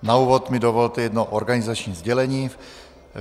Na úvod mi dovolte jedno organizační sdělení.